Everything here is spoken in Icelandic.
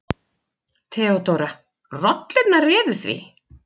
THEODÓRA: Rollurnar réðu því.